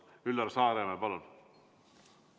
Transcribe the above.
Üllar Saaremäe, palun!